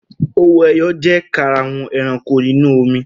Owó-ẹyọ jẹ́ karahun ẹranko inú omi kan.